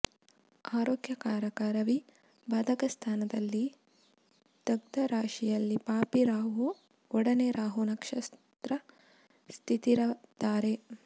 ಆರೋಗ್ಯ ಕಾರಕ ರವಿ ಬಾಧಕಸ್ಥಾನದಲ್ಲಿ ದಗ್ಧರಾಶಿಯಲ್ಲಿ ಪಾಪಿ ರಾಹು ಒಡನೆ ರಾಹು ನಕ್ಷತ್ರ ಸ್ಥಿತರಿದ್ದಾರೆ